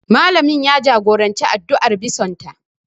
Malamin ya jagoranci addu'ar bison ta